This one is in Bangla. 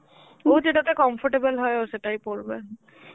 ও যেটাতে comfortable হয়, ও সেটাই পড়বে.